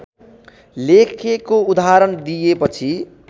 लेखेको उदाहरण दिएपछि